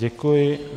Děkuji.